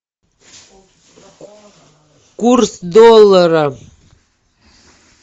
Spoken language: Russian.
курс доллара